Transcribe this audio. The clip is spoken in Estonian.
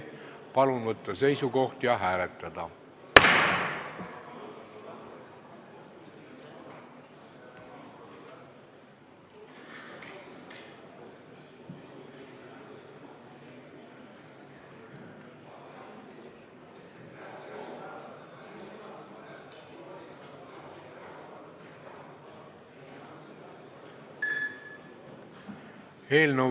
Palun võtta seisukoht ja hääletada!